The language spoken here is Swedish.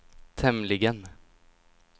tämligen